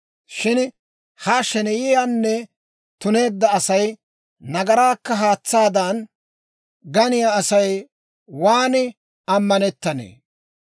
Shin ha sheneyiyaanne tuneedda asay, nagaraakka haatsaadan ganiyaa Asay waan amanetannee!